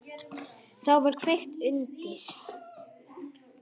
Þá var kveikt undir.